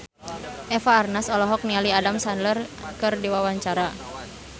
Eva Arnaz olohok ningali Adam Sandler keur diwawancara